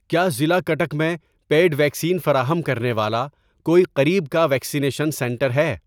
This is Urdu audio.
کیا ضلع کٹک میں پیڈ ویکسین فراہم کرنے والا کوئی قریب کا ویکسینیشن سنٹر ہے؟